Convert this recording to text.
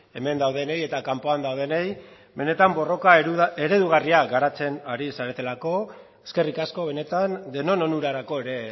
hemen daudenei eta kanpoan daudenei benetan borroka eredugarria garatzen ari zaretelako eskerrik asko benetan denon onurarako ere